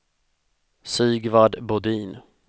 Sigvard Bodin